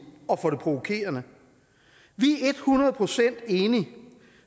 og det provokerende vi er et hundrede procent enige